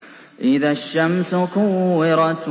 إِذَا الشَّمْسُ كُوِّرَتْ